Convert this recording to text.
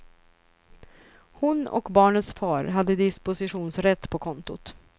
Hon och barnets far hade dispositionsrätt på kontot.